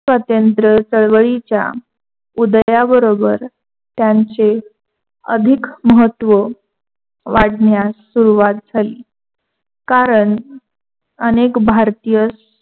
स्वतंत्र चळवळीच्या उदयाबरोबर त्याने अधिक महत्व वाढण्यास सुरवात झाली. कारण अनेक भारतीय